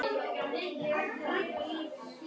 Inn í hvítt myrkur.